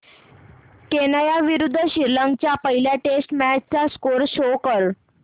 Kenya विरुद्ध श्रीलंका च्या पहिल्या टेस्ट मॅच चा स्कोअर शो कर